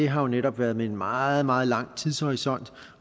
har jo netop været med en meget meget lang tidshorisont